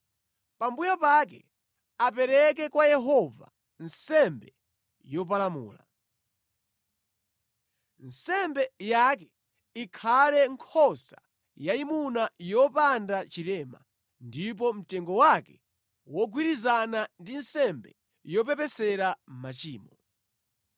Pambuyo pake apereke kwa Yehova nsembe yopalamula. Nsembe yake ikhale nkhosa yayimuna yopanda chilema ndipo mtengo wake wogwirizana ndi nsembe yopepesera machimo.